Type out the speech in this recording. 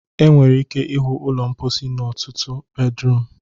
Ị nwere ike ịhụ ụlọ mposi n'ọtụtụ bafruum